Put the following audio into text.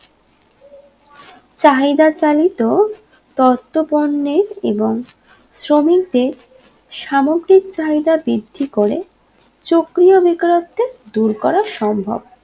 চাহিদা চালিত তথ্য পর্নের এবং শ্রমিকদের সামগ্রিক চাহিদা বৃদ্ধি করে চক্রীয় বেকারত্বে দূর করা সম্ভব